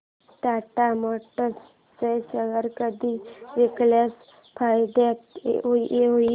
Tata motors चे share कधी विकल्यास फायदा होईल